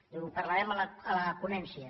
diu ho parlarem a la ponència